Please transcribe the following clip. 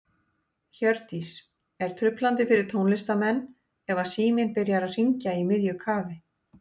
Hjördís: Er truflandi fyrir tónlistarmenn ef að síminn byrjar að hringja í miðju kafi?